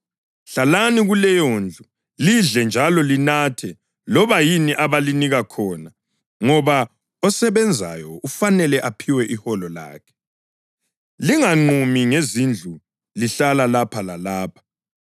Hlalani kuleyondlu, lidle njalo linathe loba yini abalinika khona ngoba osebenzayo ufanele aphiwe iholo lakhe. Linganqumi ngezindlu lihlala lapha lalapha.